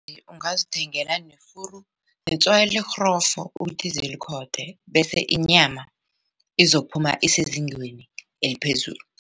Ungazithengela nefuru netswayi elirhrofo ukuthi zilikhothe bese inyama izokuphuma esezingeni eliphezulu.